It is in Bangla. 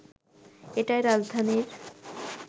এটাই রাজধানীর